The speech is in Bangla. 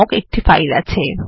নামক একটি ফাইল আছে